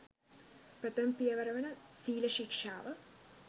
ප්‍රථම පියවර වන සීල ශික්ෂාව